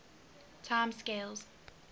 time scales